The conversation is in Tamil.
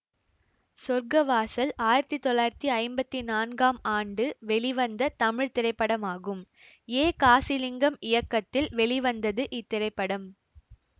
சொர்க்க வாசல் ஆயிரத்தி தொள்ளாயிரத்தி ஐம்பத்தி நான்காம் ஆண்டு வெளிவந்த தமிழ் திரைப்படமாகும் ஏ காசிலிங்கம் இயக்கத்தில் வெளிவந்தது இத்திரைப்படம்